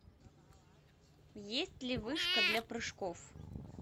есть ли вышка для прыжков